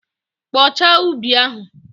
Kpochaa ubi ahụ!